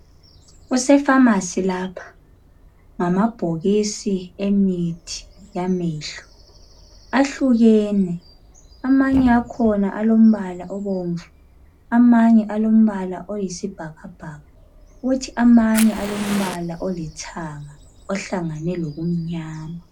Kusepharmacy lapha, ngamabhokisi emithi yamehlo ahlukene. Amanye akhona alombala obomvu, amanye alombala oyisibhakabhaka kuthi amanye alombala olithanga ohlangane lokumnyama.